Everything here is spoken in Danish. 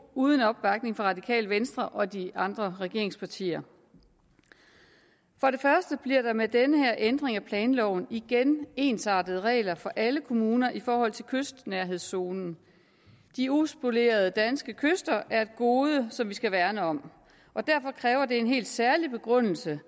uden opbakning fra radikale venstre og de andre regeringspartier for det første bliver der med den her ændring af planloven igen ensartede regler for alle kommuner i forhold til kystnærhedszonen de uspolerede danske kyster er et gode som vi skal værne om og derfor kræver det en helt særlig begrundelse